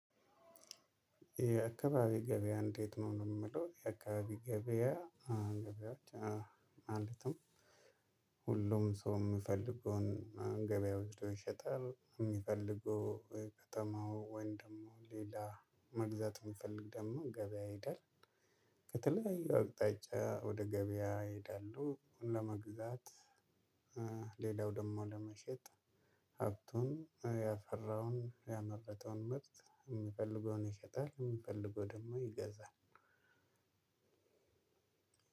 የአካባቢ ገበያ እንዴት ነው ነው የምለው የአካባቢ ገበያ አንድ ገበያ ማለትም ሁሉም ሰው የምፈልገውን ገበያ ወጥቶ ይሸጣል የሚፈልገው ከተማው ወይን ደግሞ ሌላ መግዛት የሚፈልግ ደግሞ ገበያ ይሄዳል። አቅጣጫ ወደ ገበያ ይሄዳሉ ለመግዛት ሌላው ደግሞ ለመሸጥ ሀብቱን ያፈራውን ያመረታውን ምርት የሚፈልገውን ይሸጣል የሚፈልገው ደግሞ ይገዛል።